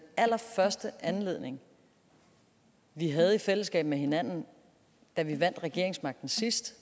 allerførste anledning vi havde i fællesskab med hinanden da vi vandt regeringsmagten sidst